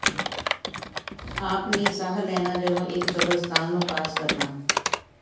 ਆਪਣੀ ਸਾਹ ਲੈਣਾ ਜਦੋਂ ਇਕ ਕਬਰਸਤਾਨ ਨੂੰ ਪਾਸ ਕਰਨਾ